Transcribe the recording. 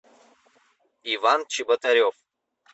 иван чеботарев